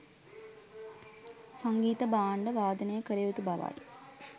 සංගීත භාණ්ඩ වාදනය කළ යුතු බවයි.